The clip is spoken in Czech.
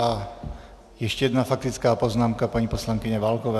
A ještě jedna faktická poznámka - paní poslankyně Válková.